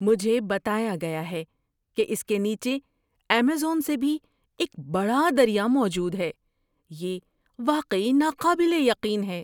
مجھے بتایا گیا ہے کہ اس کے نیچے ایمیزون سے بھی ایک بڑا دریا موجود ہے۔ یہ واقعی ناقابل یقین ہے!